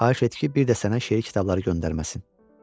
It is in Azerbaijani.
Xahiş et ki, bir də sənə şəkil kitabları göndərməsin.